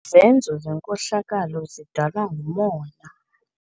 Izenzo zenkohlakalo zidalwa ngumona.